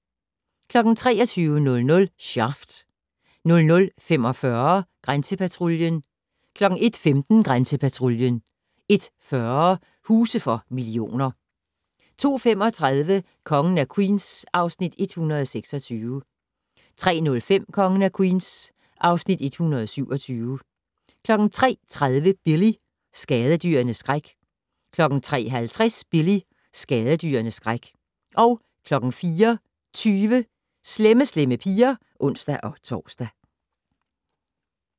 23:00: Shaft 00:45: Grænsepatruljen 01:15: Grænsepatruljen 01:40: Huse for millioner 02:35: Kongen af Queens (Afs. 126) 03:05: Kongen af Queens (Afs. 127) 03:30: Billy - skadedyrenes skræk 03:50: Billy - skadedyrenes skræk 04:20: Slemme Slemme Piger (ons-tor)